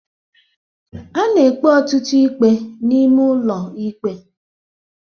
A na-ekpe ọtụtụ ikpe n'ime ụlọ ikpe